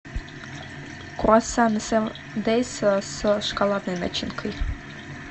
круассаны севен дейс с шоколадной начинкой